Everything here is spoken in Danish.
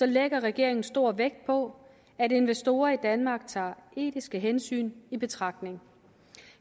lægger regeringen stor vægt på at investorer i danmark tager etiske hensyn i betragtning